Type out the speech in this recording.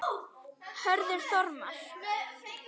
Hörður Þormar.